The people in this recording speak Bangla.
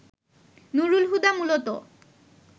নুরুল হুদা মূলত